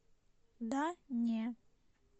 да не